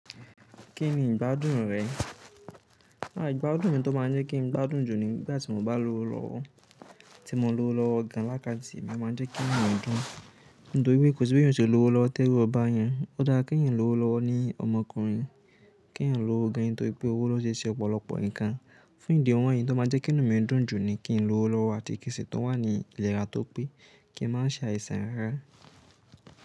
Kí ni ìgbádùn rẹ? Àh ìgbádùn mi tó máa ń jẹ́ kí n gbádùn jù ni nígbà tí mo bá lówó lọ́wọ́. Tí mo lówó lọ́wọ́ gan lákàntì, ó máa ń jẹ́ kí inú mí dùn. Nítorípé kò sí béyàn ó ṣe lówó lọ́wọ́ t'ẹ́rù ó báàyàn. Ó dára kí èèyàn lówó lọ́wọ́ ní ọmọkùnrin, kí èèyàn lówó gan nítorí pé owó ló se ń ṣe ọ̀pọ̀lọpọ̀ nǹkan. Fún ìdí wọ̀nyìí in tó máa jẹ́ kí inú mi dùn jù ni kí n lówó lọ́wọ́ àti kí nsì tún wà ní ìlera tó pé kí n má ṣe àìsàn rárá.